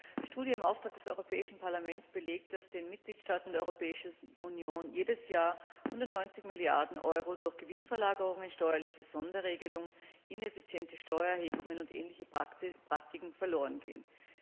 Eine Studie im Auftrag des Europäischen Parlaments belegt, dass den Mitgliedstaaten der Europäischen Union jedes Jahr 190 Milliarden Euro durch Gewinnverlagerungen, steuerliche Sonderregelungen, ineffiziente Steuererhebungen und ähnliche Praktiken verlorengehen.